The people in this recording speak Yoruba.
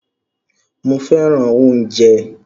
Mó fẹràn oúnjẹ.